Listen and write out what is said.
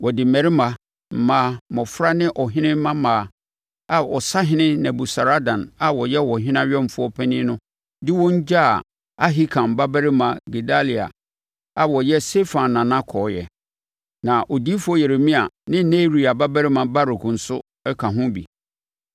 Wɔde mmarima, mmaa, mmɔfra ne ɔhene mmammaa a ɔsahene Nebusaradan a ɔyɛ ɔhene awɛmfoɔ panin no de wɔn gyaa Ahikam babarima Gedalia a ɔyɛ Safan nana kɔɔeɛ. Na odiyifoɔ Yeremia ne Neria babarima Baruk nso ka ho bi.